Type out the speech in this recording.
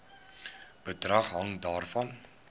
bedrag hang daarvan